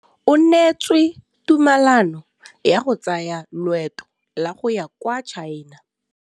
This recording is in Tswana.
O neetswe tumalanô ya go tsaya loetô la go ya kwa China.